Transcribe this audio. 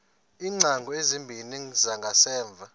iingcango ezimbini zangasemva